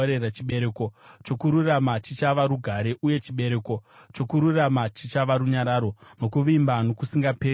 Chibereko chokururama chichava rugare; uye chibereko chokururama chichava runyararo nokuvimba nokusingaperi.